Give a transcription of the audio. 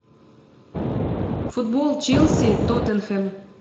футбол челси тоттенхэм